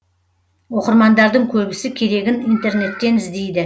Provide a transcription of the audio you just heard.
оқырмандардың көбісі керегін интернеттен іздейді